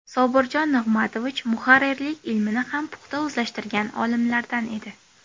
Sobirjon Nigmatovich muharrirlik ilmini ham puxta o‘zlashtirgan olimlardan edi.